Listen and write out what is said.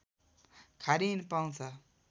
खारिन पाउँछ